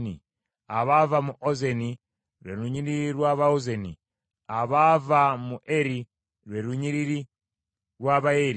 abaava mu Ozeni, lwe lunyiriri lw’Abaozeni; abaava mu Eri, lwe lunyiriri lw’Abaeri;